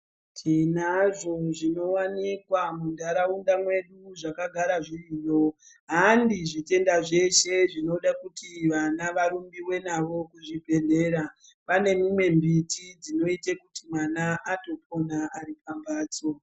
Tinazvo zvinowanikwa muntaraunda mwedu zvakagara zviriyo ,handi zvitenda zveshe zvinode kuti vana varumbiwe navo kuzvibhedhlera , pane mumwe mbiti dzinotoite kuti mwana atopona ari pambatso.